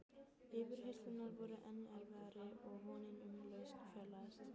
Yfirheyrslurnar voru enn erfiðar og vonin um lausn fjarlægðist.